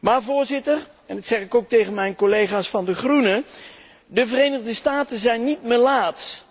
Maar, Voorzitter, en dat zeg ik ook tegen mijn collega's van de Groenen de Verenigde Staten zijn niet melaats.